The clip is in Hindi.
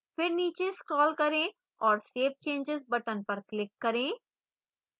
फिर नीचे scroll करें और save changes button पर click करें